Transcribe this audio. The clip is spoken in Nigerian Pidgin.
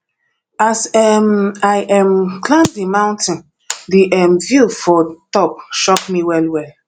as um i um climb di mountain di um view for top shock me wellwell